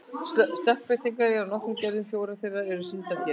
Stökkbreytingar eru af nokkrum gerðum, fjórar þeirra eru sýndar hér.